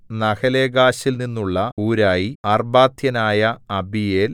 നഹലേഗാശിൽ നിന്നുള്ള ഹൂരായി അർബാത്യനായ അബീയേൽ